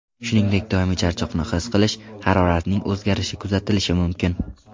Shuningdek, doimiy charchoqni his qilish, haroratning o‘zgarishi kuzatilishi mumkin.